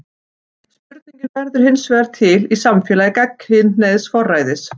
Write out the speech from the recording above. Spurningin verður hinsvegar til í samfélagi gagnkynhneigðs forræðis.